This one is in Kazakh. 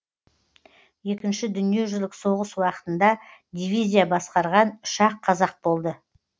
екінші дүниежүзілік соғыс уақытында дивизия басқарған үш ақ қазақ болды